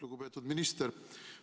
Lugupeetud minister!